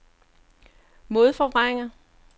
modforvrænger